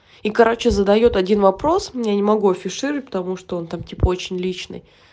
и короче задаёт один вопрос мне не могу афишировать потому что он там типа очень личный